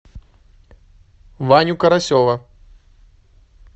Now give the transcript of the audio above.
ваню карасева